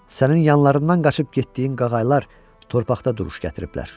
Sənin yanlarından qaçıb getdiyin qağayılar torpaqda duruş gətiriblər.